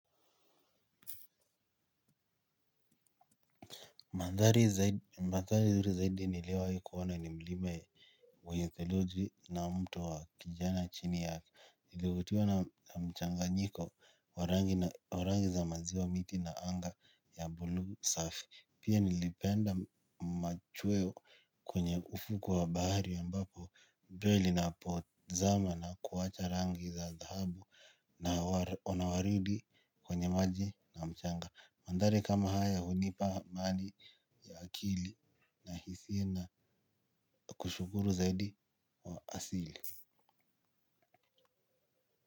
Mandhari nzuri zaidi niliowahi hii kuona ni mlima wenye theluji na mtu wa kijana chini yake. Nilivutiwa na mchanganyiko wa rangi za maziwa miti na anga ya buluu safi. Pia nilipenda machweo kwenye ufukwe wa bahari ambapo jua linapozama na kuacha rangi za dhahabu na uwaridi kwenye maji na mchanga. Mandhari kama haya hunipa amani ya akili na hisia na kushukuru zaidi wa asili.